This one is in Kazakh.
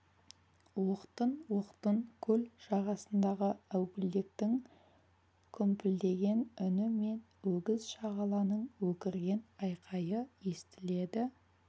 оқтын-оқтын көл жағасындағы әупілдектің күмпілдеген үні мен өгіз шағаланың өкірген айқайы естіледі